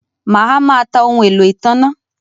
Mà á má ta ohun-èlò ìtanná